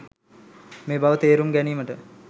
මේ බව තේරුම් ගැනීමට